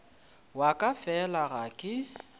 wa ka fela ga ke